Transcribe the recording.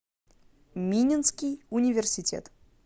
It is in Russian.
мининский университет